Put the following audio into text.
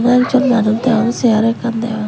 ek jon manuj degong chair ekkan degong.